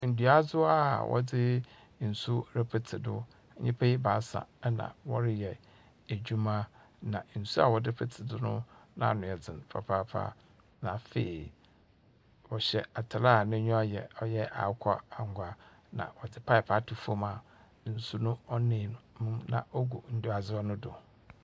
Nduadzewa a wɔdze nsu repetse do. Nyipa ebaasa na wɔreyɛ edwuma, na nsu a wɔdze petee do no n'ano yɛdzen papaapa. Na afei wɔhyɛ atar a n'enyiwa ɔyɛ akokɔ angwa, na wɔdze paep ato fom a nsu no ɔnam mu gu nduadzewa no do.